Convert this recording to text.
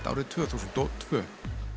árið tvö þúsund og tvö